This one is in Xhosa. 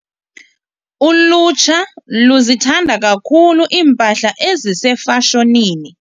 Ulutsha luzithanda kakhulu iimpahla ezisefashonini.